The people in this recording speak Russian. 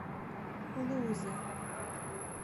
лузы